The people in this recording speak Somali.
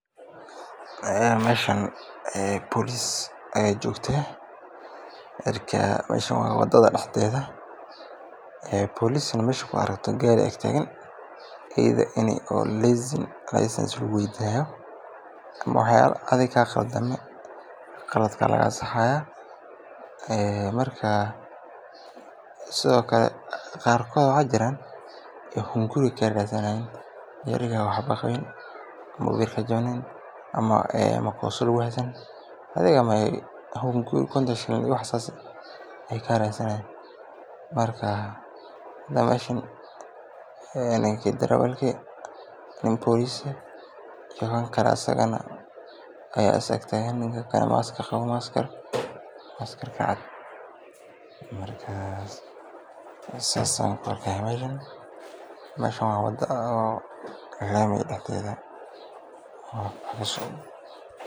Meeshan boolis ayaa joogta, waa wadada dexdeeda, gaari hadaay garab taagan tahay wax yaaba qaldan ayaa laga saxaaya, qarkood hunguri ayeey ka radsanaaya, hada meeshan ninka darawalki midki boliska iyo mid kale ayaa is garab taagan, marka meeshan waa wada laami dexdeeda.